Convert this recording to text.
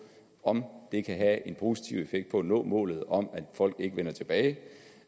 om det kan have en positiv effekt på at nå målet om at folk ikke vender tilbage